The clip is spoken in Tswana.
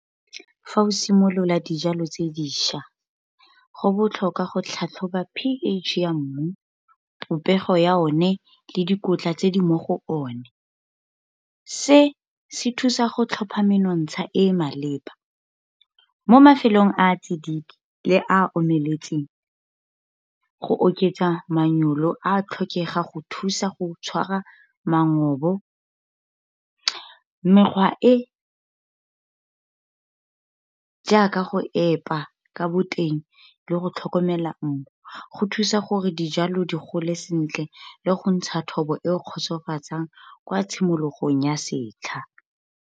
Fa o simolola dijalo tse dišwa, go botlhokwa go tlhatlhoba p_H ya mmu, popego ya one, le dikotla tse di mo go one. Se se thusa go tlhopha menontsha e e maleba, mo mafelong a a tsididi le a omeletseng. Go oketsa manyolo a tlhokega go thusa go tshwara . Mekgwa e jaaka go epa ka boteng le go tlhokomela mmu. Go thusa gore dijalo di gole sentle le go ntsha thobo e kgotsofatsang kwa tshimologong ya setlha.